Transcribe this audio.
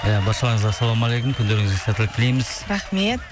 иә баршаларыңызға ассалаумағалейкум күндеріңізге сәттілік тілейміз рахмет